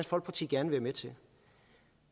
folkeparti gerne være med til